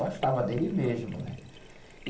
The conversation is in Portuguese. Gostava dele mesmo, né?